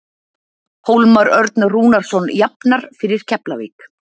Hólmar Örn Rúnarsson jafnar fyrir Keflavík.